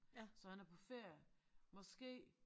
Så han er på ferie måske